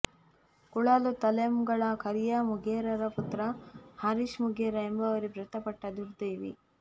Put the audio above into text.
ಕುಳಾಲು ತಲೆಂಗಳ ಕರಿಯ ಮುಗೇರರ ಪುತ್ರ ಹರೀಶ್ ಮುಗೇರ ಎಂಬವರೇ ಮೃತಪಟ್ಟ ದುರ್ದೈವಿ